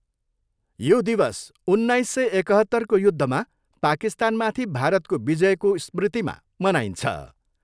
यो दिवस सोह्र सय एकहत्तरको युद्धमा पाकिस्तानमाथि भारतको विजयको स्मृतिमा मनाइन्छ।